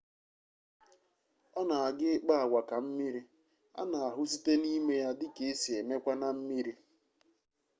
ona aga ikpa-agwa ka mmiri ana-ahu site nime ya dika esi emekwa na mmiri